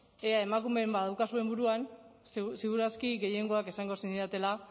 ea emakumeren bab badaukazuen buruan ziur aski gehiengoak esango zenidatela